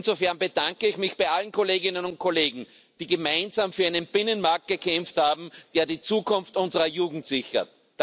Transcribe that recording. Insofern bedanke ich mich bei allen Kolleginnen und Kollegen, die gemeinsam für einen Binnenmarkt gekämpft haben, der die Zukunft unserer Jugend sichert.